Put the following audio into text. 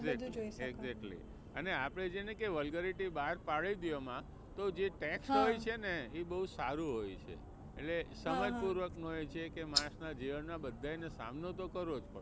એ બધુ જોઈ શકો. exactly અને આપણે જેણે કે vulgarity બહાર પાડી તી એમાં જે ટેક્સ હોય છે ને એ બહુ સારો હોય છે એટલે સમજ પૂર્વક નો હોય છે કે માણસનાં જીવનમાં બધાયને સામનો તો કરવો પડે છે.